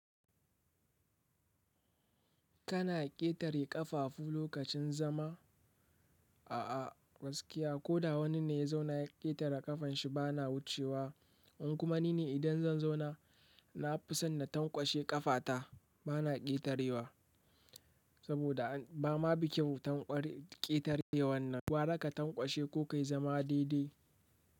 Kana ƙetare ƙafafu lokacin zama? A'a, gaskiya ko da wani ne ya zauna ya ƙetare ƙafan shi bana wucewa. In kuma ni ne idan zan zauna, na fi son na tankwashe ƙafata bana ƙetarewa saboda ba ma bi kyau ƙetarewan nan. Gwara ka tankwashe ko ka yi zama daidai.